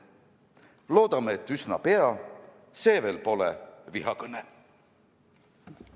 Loodame, et üsna pea see veel pole vihakõne!